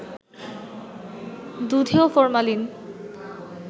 দুধেও formalin